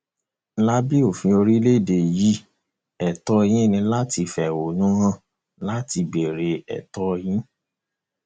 lábẹ òfin orílẹèdè yìí ètò yín ni láti fẹhónú hàn láti béèrè ètò yín